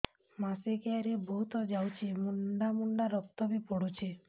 ମାସିକିଆ ରେ ବହୁତ ଯାଉଛି ମୁଣ୍ଡା ମୁଣ୍ଡା ରକ୍ତ ବି ପଡୁଛି